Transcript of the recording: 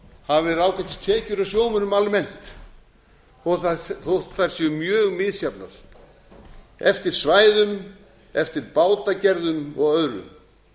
hafa verið ágætis tekjur hjá sjómönnum almennt þótt þær séu mjög misjafnar eftir svæðum eftir bátagerðum og öðru